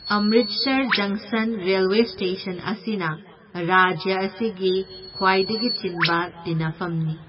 ꯑꯝꯃꯔꯤꯠꯁꯔ ꯖꯪꯁꯟ railway station ꯑꯁꯤꯅ ꯔꯥꯖ꯭ꯌ ꯑꯁꯤꯒꯤ ꯈ꯭ꯋꯥꯏꯗꯒꯤ ꯆꯤꯟꯕ ꯇꯤꯟꯅꯐꯝꯅꯤ꯫